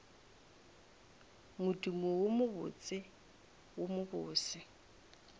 modumo wo mobotse wo mobose